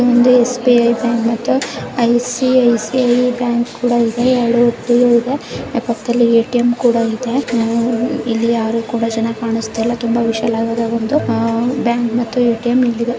ಇದು SBI bank ಮತ್ತು ICICI bank ಕೂಡ ಇದೆ ಎರಡು ಒಟ್ಟಿಗೆ ಇದೆ ಪಕ್ಕದಲ್ಲಿ ಎ.ಟಿ.ಎಂ ಕೂಡ ಇದೆ ಇಲ್ಲಿ ಯಾರು ಕೂಡ ಚೆನ್ನಾಗಿ ಕಾಣ್ತಾ ಇಲ್ಲ ತುಂಬಾ ವಿಶಾಲವಾಗಿ ಬ್ಯಾಂಕು ಗಳಿದ್ದಾವೆ ಮತ್ತುಎ.ಟಿ.ಎಂ ಇಲ್ಲಿ ಇದೆ .